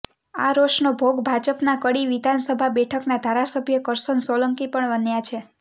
આ રોષનો ભોગ ભાજપના કડી વિધાનસભા બેઠકના ધારાસભ્ય કરસન સોલંકી પણ બન્યા છે